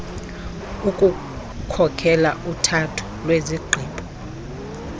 ukukhokela uthatho lwezigqibo